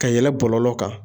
Ka yɛlɛn bɔlɔlɔ kan.